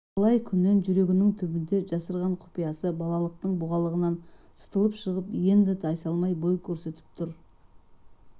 талай күннен жүрегінің түбіне жасырған құпиясы балалықтың бұғалығынан сытылып шығып енді тайсалмай бой көрсетіп тұр